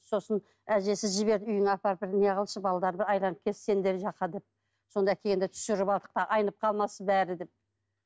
сосын әжесі жіберіп үйіңе апарып бір неғылшы балдарды сендер жаққа деп сонда келгенде түсіріп алдық да айнып қалмасын бәрі деп